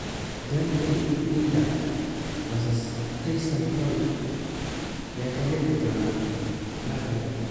Deontay Wilder vs. Tyson Fury, yaa ka leefi doona marka hore?